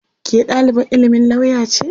Ke ɗalibar ilimin lauya ce?